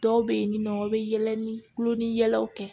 Dɔw bɛ yen ni nɔ u bɛ yɛlɛ ni kulo ni yɛlɛw kɛ